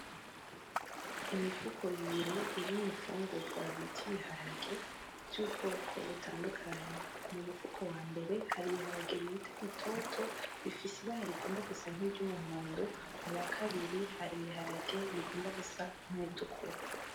Imifuko ibiri irimwo infungurwa bita ibiharage vy'ubwoko butandukanye. Mu mufuko wambere hari ibiharage bita bitoto bifise ibara rigomba gusa nk'iryumuhondo, muwakabiri hari ibiharage bigomba gusa nkibitukura.